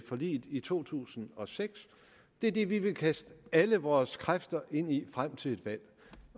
forliget i to tusind og seks det er det vi vil kaste alle vores kræfter ind i frem til et valg